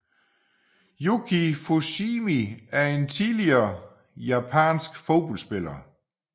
Yuki Fushimi er en tidligere japansk fodboldspiller